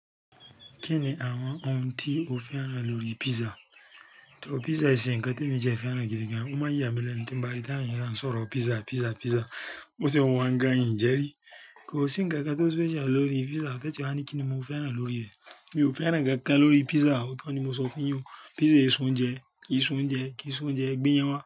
Kí ni àwọn ohun tí o fẹ́ràn lórí pizza? Pizza e se kan te mi ti ẹ fẹ́ràn gidi gan. O máa n yà mí lẹ́nu tí ń bá rí táwọn èèyàn kan sọ̀rọ̀ pizza, pizza, pizza. Bo ṣe wa n gan ìn jẹrí. Kò sí ǹkan kan tó special lórí pizza tẹ́tun wa ni kí ni mo fẹ́ràn lórí rẹ̀. Mi ò fẹ́ràn ǹkan kan lórí pizza. Ọ̀tọ̀ ni mo sọ fún yín o pizza èso oúnjẹ, ki so oúnjẹ, ki so oúnjẹ, e gbe'yan wá.